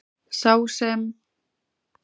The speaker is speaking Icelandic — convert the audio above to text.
Sá sem.